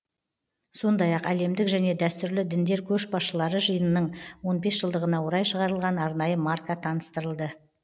сондай ақ әлемдік және дәстүрлі діндер көшбасшылары жиынының он бес жылдығына орай шығарылған арнайы марка таныстырылды